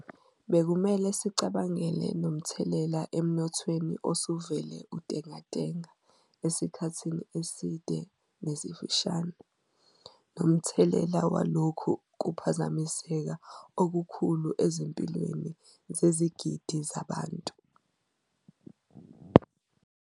Bekumele sicabangele nomthelela emnothweni osuvele untengantenga esikhathini eside nesifushane, nomthelela walokhu kuphazamiseka okukhulu ezimpilweni zezigidi zabantu.